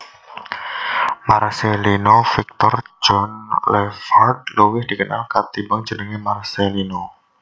Marcellino Victor John Lefrand luwih dikenal kanthi jeneng Marcellino